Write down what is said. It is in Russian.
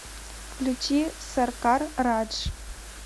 включи саркар радж